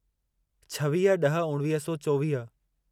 छवीह ड॒ह उणिवीह सौ चोवीह